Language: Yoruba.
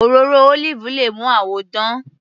Òróró olive le mú àwọ dán.